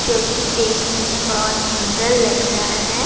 چکی دیکھنے مے بہت سندر لگ رہا ہے-